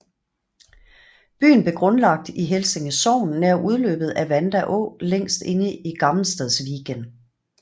Byen blev grundlagt i Helsinge Sogn nær udløbet af Vanda å længst inde i Gammelstadsviken